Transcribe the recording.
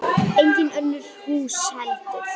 Engin önnur hús heldur.